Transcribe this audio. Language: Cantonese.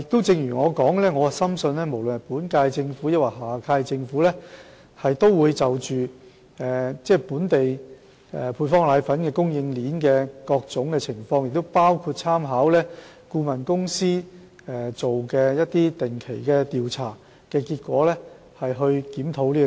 正如我所說的，我深信無論是本屆政府或下屆政府，都會注視本港配方粉供應鏈的各種情況，同時亦會參考顧問公司定期進行的調查結果而進行檢討。